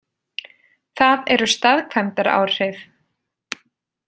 Það eru staðkvæmdaráhrif.